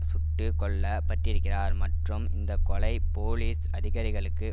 சுட்டு கொல்ல பட்டிருக்கிறார் மற்றும் இந்தக்கொலை போலீஸ் அதிகாரிகளுக்கு